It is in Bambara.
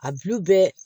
A bulu bɛɛ